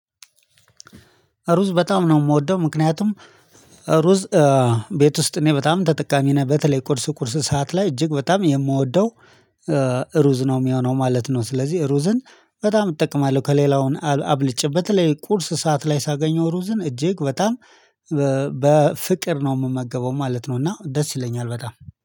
ሩዝ በጣም ነው የምወደው ምክንያቱም ሩዝ ቤት ውስጥ እኔ በጣም ተጠቃሚ ነኝ በተለይ ቁርስ ቁርስ ሰዓት ላይ እጅግ በጣም የምወደው ሩዝ ነው የሚሆነው ማለት ነው ስለዚህ ሩዝን በጣም እጠቀማለሁ ከሌላውን አብልጭ በተለይ ቁርስ ሰዓት ላይ ሳገኘው ሩዝን እጅግ በጣም በፍቅር ነው የምመገበው ማለት ነው እና ደስ ይለኛል በጣም።